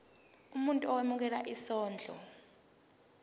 umuntu owemukela isondlo